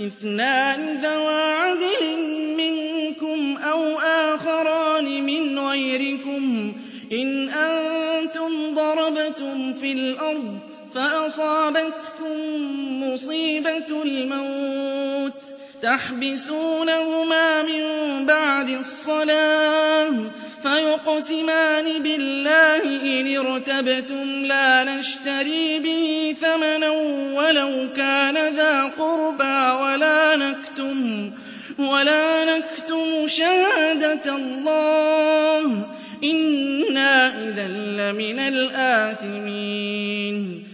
اثْنَانِ ذَوَا عَدْلٍ مِّنكُمْ أَوْ آخَرَانِ مِنْ غَيْرِكُمْ إِنْ أَنتُمْ ضَرَبْتُمْ فِي الْأَرْضِ فَأَصَابَتْكُم مُّصِيبَةُ الْمَوْتِ ۚ تَحْبِسُونَهُمَا مِن بَعْدِ الصَّلَاةِ فَيُقْسِمَانِ بِاللَّهِ إِنِ ارْتَبْتُمْ لَا نَشْتَرِي بِهِ ثَمَنًا وَلَوْ كَانَ ذَا قُرْبَىٰ ۙ وَلَا نَكْتُمُ شَهَادَةَ اللَّهِ إِنَّا إِذًا لَّمِنَ الْآثِمِينَ